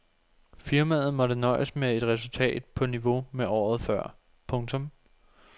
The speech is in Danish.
Firmaet måtte nøjes med et resultat på niveau med året før. punktum